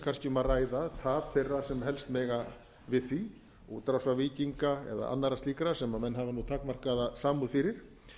kannski um að ræða tap þeirra sem helst mega við því útrásarvíkinga eða annarra slíkra sem menn hafa nú takmarkaða samúð fyrir